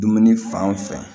Dumuni fan fɛ